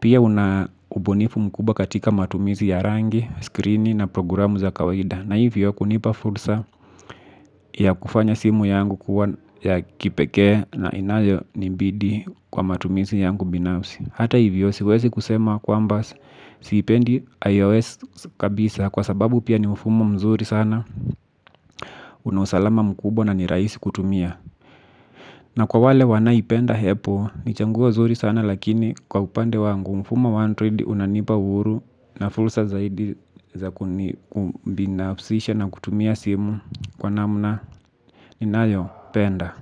pia unaubunifu mkuba katika matumizi ya rangi, screen na programu za kawaida. Na hivyo kunipa fursa ya kufanya simu yangu kuwa ya kipeke na inayo nimbidi kwa matumizi yangu binafsi. Hata hivyo siwezi kusema kwa amba siipendi iOS kabisa kwa sababu pia ni mfumo mzuri sana. Unausalama mkubwa na ni rahisi kutumia. Na kwa wale wanaipenda hepo ni changuo nzuri sana lakini kwa upande wangu mfumo wa android unanipa uhuru. Na fulsa zaidi za kubinafsisha na kutumia simu kwa namna ninayo penda.